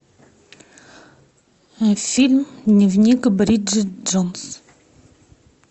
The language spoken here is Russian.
фильм дневник бриджит джонс